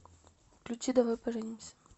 включи давай поженимся